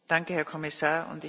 Danke, Herr Kommissar!